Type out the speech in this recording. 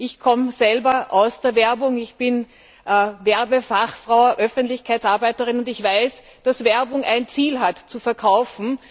Ich komme selbst aus der Werbung ich bin Werbefachfrau und Öffentlichkeitsarbeiterin und ich weiß, dass Werbung ein Ziel hat nämlich zu verkaufen.